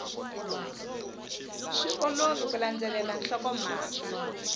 swi olovi ku landzelela nhlokomhaka